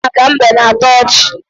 Akụkọ maka mbe na-atọ ọchị.